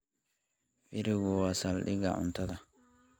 Firigu waa saldhigga cuntada.